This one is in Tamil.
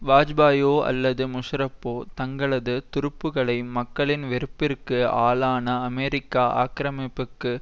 வாஜ்பாயியோ அல்லது முஷாரப்போ தங்களது துருப்புக்களை மக்களின் வெறுப்பிற்கு ஆளான அமெரிக்க ஆக்கிரமிப்புக்கு